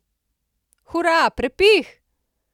Hura, prepih!